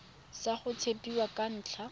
sa go tshepiwa ka ntlha